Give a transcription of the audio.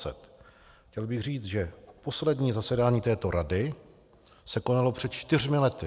Chtěl bych říct, že poslední zasedání této rady se konalo před čtyřmi lety.